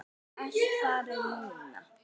Það er allt farið núna.